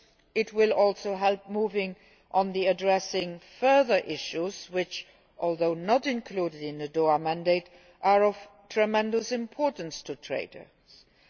It will also help to move on to addressing further issues which, although not included in the Doha mandate, are of tremendous importance to trading companies.